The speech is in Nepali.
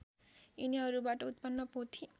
यिनीहरूबाट उत्पन्न पोथी